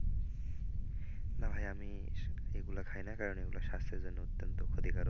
না ভাই আমি এগুলা খাইনা কারণ এগুলা স্বাস্থ্যের জন্য অত্যন্ত ক্ষতিকারক